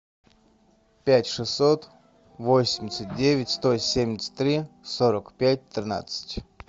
пять шестьсот восемьдесят девять сто семьдесят три сорок пять тринадцать